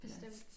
Bestemt